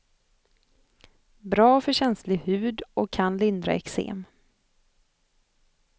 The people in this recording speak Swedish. Bra för känslig hud och kan lindra eksem.